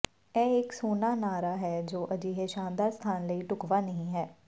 ਇਹ ਇਕ ਸੋਹਣਾ ਨਾਅਰਾ ਹੈ ਜੋ ਅਜਿਹੇ ਸ਼ਾਨਦਾਰ ਸਥਾਨ ਲਈ ਢੁਕਵਾਂ ਨਹੀਂ ਹੈ